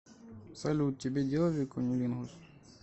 салют тебе делали куннилингус